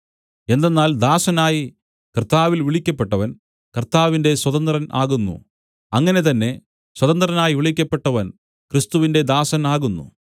എന്തെന്നാൽ ദാസനായി കർത്താവിൽ വിളിക്കപ്പെട്ടവൻ കർത്താവിന്റെ സ്വതന്ത്രൻ ആകുന്നു അങ്ങനെ തന്നെ സ്വതന്ത്രനായി വിളിക്കപ്പെട്ടവൻ ക്രിസ്തുവിന്റെ ദാസനാകുന്നു